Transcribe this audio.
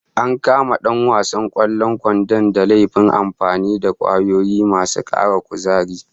An kama dan wasan kwallon kwandon da laifin amfani da kwayoyi masu kara kuzari